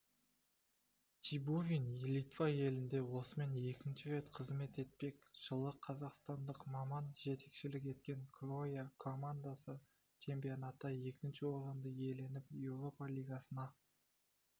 чебурин литва елінде осымен екінші рет қызмет етпек жылы қазақстандық маман жетекшілік еткен круоя командасы чемпионатта екінші орынды иеленіп еуропа лигасына